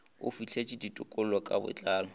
o fihleletše ditekolo ka botlalo